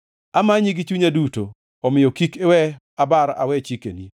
Amanyi gi chunya duto; omiyo kik iwe abar awe chikeni.